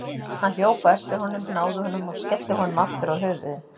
Hann hljóp á eftir honum, náði honum og skellti honum aftur á höfuðið.